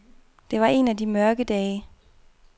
Det var en af de mørke dage.